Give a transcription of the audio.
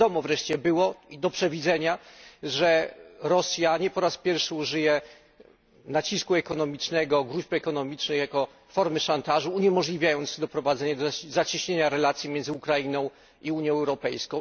I wiadomo wreszcie było, i do przewidzenia, że Rosja nie po raz pierwszy użyje nacisku ekonomicznego, gróźb ekonomicznych jako formy szantażu, uniemożliwiając doprowadzenie do zacieśnienia relacji między Ukrainą i Unią Europejską.